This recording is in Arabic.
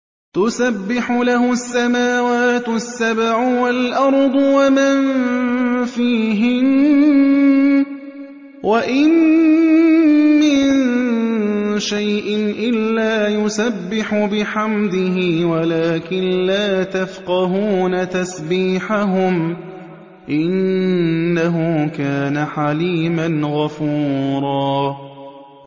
تُسَبِّحُ لَهُ السَّمَاوَاتُ السَّبْعُ وَالْأَرْضُ وَمَن فِيهِنَّ ۚ وَإِن مِّن شَيْءٍ إِلَّا يُسَبِّحُ بِحَمْدِهِ وَلَٰكِن لَّا تَفْقَهُونَ تَسْبِيحَهُمْ ۗ إِنَّهُ كَانَ حَلِيمًا غَفُورًا